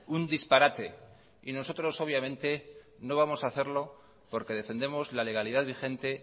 un disparate nosotros obviamente no vamos a hacerlo porque defendemos la legalidad vigente